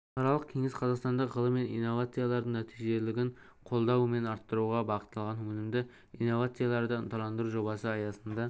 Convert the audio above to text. халықаралық кеңес қазақстандық ғылым мен инновациялардың нәтижелілігін қолдау мен арттыруға бағытталған өнімді инновацияларды ынталандыру жобасы аясында